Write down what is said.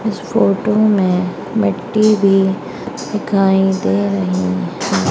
इस फोटो में मिट्टी भी दिखाई दे रही हैं।